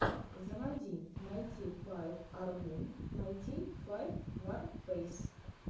заводи найти файв аргун найти файв варфейс